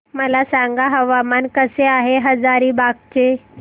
मला सांगा हवामान कसे आहे हजारीबाग चे